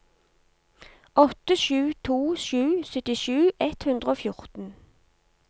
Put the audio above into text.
åtte sju to sju syttisju ett hundre og fjorten